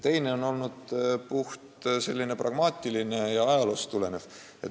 Teine põhjus on selline puhtpragmaatiline ja ajaloost tulenev.